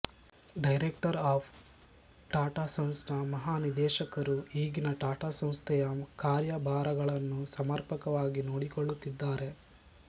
director of Tata sons ನ ಮಹಾನಿದೇಶಕರು ಈಗಿನ ಟಾಟ ಸಂಸ್ಥೆಯ ಕಾರ್ಯಭಾರಗಳನ್ನು ಸಮರ್ಪಕವಾಗಿ ನೋಡಿಕೊಳ್ಳುತ್ತಿದ್ದಾರೆ